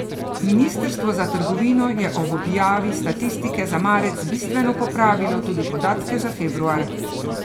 Ministrstvo za trgovino je ob objavi statistike za marec bistveno popravilo tudi podatke za februar.